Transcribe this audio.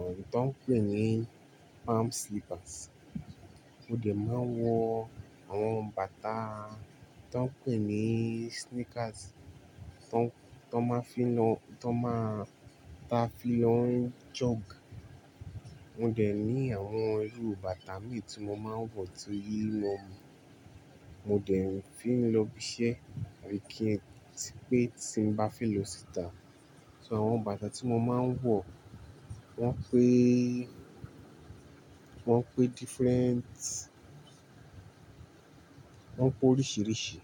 à to n pè ní palm slippers. Mo dẹ̀ máa ń wọ àwọn bàtà to ń pè ní sneakers to n, to n máa n fí lọ, to n máa, taa fí lọ ń jog. Mo dẹ̀ ní àwọn irú bàtà mì tí mo máa ń wọ̀ to lílọ́ọ̀ mú. Mo dẹ̀ níí fí lọ ibi iṣẹ́ àbí kí n ti pé tí ń bá fẹ́ lò síta. So àwọn bàtà tí mo máa ń wọ̀ wọ́n péé, wọ́n pé different, wọ́n pé oríṣìíríṣìí.